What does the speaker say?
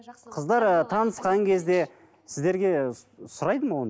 қыздар танысқан кезде сіздерге сұрайды ма оны